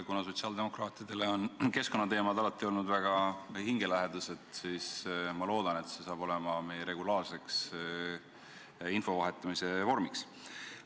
Kuna sotsiaaldemokraatidele on keskkonnateemad alati olnud väga hingelähedased, siis ma loodan, et see saab olema meie regulaarseks info vahetamise vormiks.